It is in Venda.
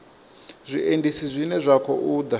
zwiendisi zwine zwa khou ḓa